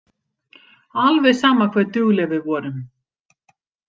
Alveg sama hve dugleg við vorum.